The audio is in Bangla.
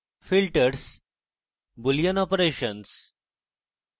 filters boolean operations